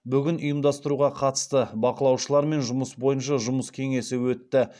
бүгін ұйымдастыруға қатысты бақылаушылармен жұмыс бойынша жұмыс кеңесі өтті